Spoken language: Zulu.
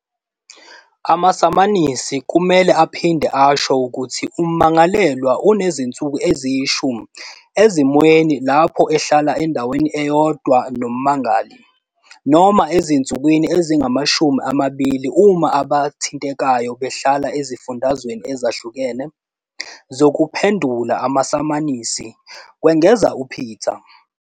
Amasamanisi kumele aphinde asho ukuthi ummangalelwa unezinsuku eziyi-10 - ezimweni lapho ehlala endaweni eyodwa nommangali, noma ezinsukwini ezingama-20 uma abathintekayo behlala ezifundazweni ezahlukene, zokuphendula amasamanisi," kwengeza uPeta.